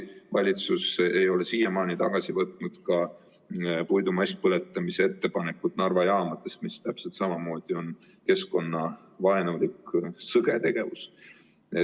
Valitsus ei ole siiamaani tagasi võtnud ka puidu masspõletamise ettepanekut Narva jaamades, mis täpselt samamoodi on keskkonnavaenulik, sõge tegevus.